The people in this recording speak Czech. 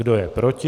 Kdo je proti?